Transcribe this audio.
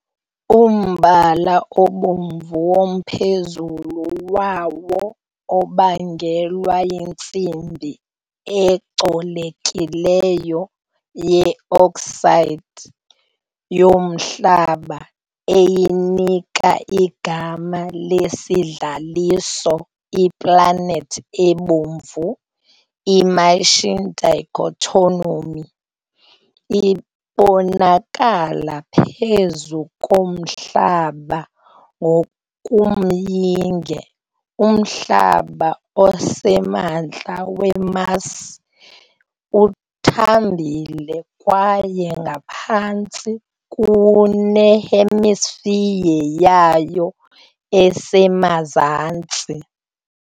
Umbala obomvu womphezulu wawo ubangelwa yintsimbi ecolekileyo ye-oxide yomhlaba, eyinika igama lesidlaliso "iPlanethi eBomvu". I- Martian dichotomy ibonakala phezu komhlaba- ngokomyinge, umhlaba osemantla we-Mars uthambile kwaye ungaphantsi kune-hemisphere yayo esemazantsi.